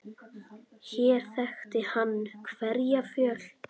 Hér þekkti hann hverja fjöl.